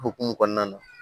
O hukumu kɔnɔna na